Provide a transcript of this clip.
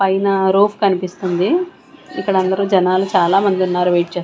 పైన రూఫ్ కనిపిస్తుంది ఇక్కడ అందరూ జనాలు చాలామంది ఉన్నారు వెయిట్ చేస--